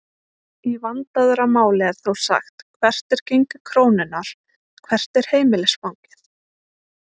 Í vandaðra máli er þó sagt hvert er gengi krónunnar?, hvert er heimilisfangið?